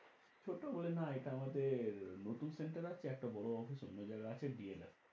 ছোটো বলে না এটা আমাদের নতুন center আছে একটা বড়ো office অন্য জায়গায় আছে